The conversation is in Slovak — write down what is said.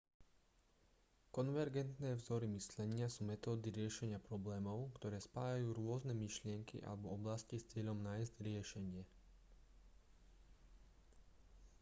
konvergentné vzory myslenia sú metódy riešenia problémov ktoré spájajú rôzne myšlienky alebo oblasti s cieľom nájsť riešenie